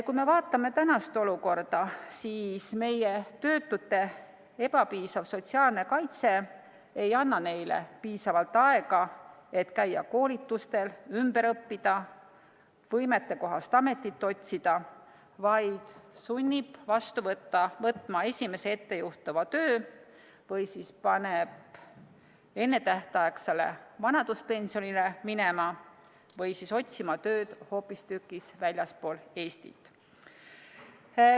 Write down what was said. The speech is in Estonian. Kui me vaatame tänast olukorda, siis meie töötute ebapiisav sotsiaalne kaitse ei anna neile piisavalt aega, et käia koolitustel, ümber õppida, võimetekohast ametit otsida, vaid sunnib vastu võtma esimese ettejuhtuva töö või siis paneb ennetähtaegsele vanaduspensionile minema või otsima tööd hoopistükkis väljaspool Eestit.